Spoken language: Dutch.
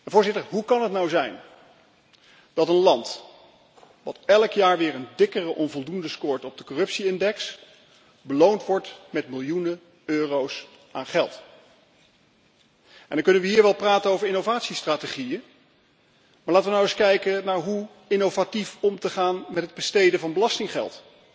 Voorzitter, hoe kan het nou zijn dat een land dat elk jaar weer een dikke onvoldoende scoort op de corruptie index, beloond wordt met miljoenen euro's aan geld? En dan kunnen we hier wel praten over innovatiestrategieën, maar laten we nou eens kijken naar hoe innovatief om te gaan met het besteden van belastinggeld